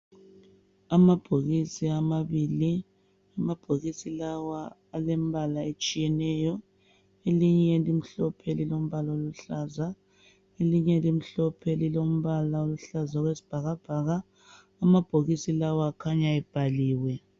Amabhokisi amabili. Amabhokisi lawa alembala etshiyeneyo. Elinye limhlophe lilombala oluhlaza, elinye limhlophe lilombala oluhlaza okwesibhakabhaka. Amabhokisi la akhanya ebhaliwe.